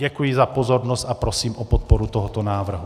Děkuji za pozornost a prosím o podporu tohoto návrhu.